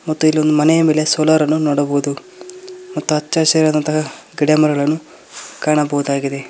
ಮತ್ತು ಇಲ್ಲೋಂದ ಮನೆ ಮೇಲೆ ಸೋಲಾರನ್ನು ನೋಡಬಹುದು ಮತ್ತ ಅಚ್ಚ ಹಸಿರಾದಂತಹ ಗಿಡ ಮರಗಳನ್ನು ಕಾಣಬಹುದಾಗಿದೆ.